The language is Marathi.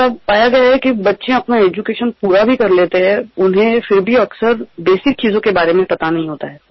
मुलांनी शिक्षण पूर्ण केल्यानंतरही त्यांना अनेक मुलभूत गोष्टी माहित नसतात